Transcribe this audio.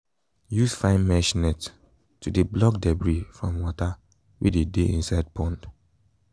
use fine mesh net tp de block debris from water wey de de inside pond